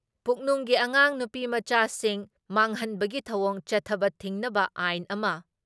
ꯄꯨꯛꯅꯨꯡꯒꯤ ꯑꯉꯥꯡ ꯅꯨꯄꯤꯃꯆꯥꯁꯤꯡ ꯃꯥꯡꯍꯟꯕꯒꯤ ꯊꯧꯑꯣꯡ ꯆꯠꯊꯕ ꯊꯤꯡꯅꯕ ꯑꯥꯏꯟ ꯑꯃ